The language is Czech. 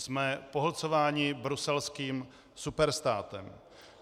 Jsme pohlcováni bruselským superstátem.